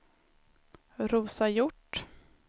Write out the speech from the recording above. Rosa Hjort